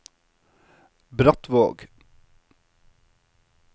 Brattvåg